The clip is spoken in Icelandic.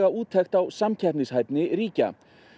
úttekt á samkeppnishæfni ríkja